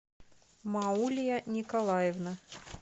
маулия николаевна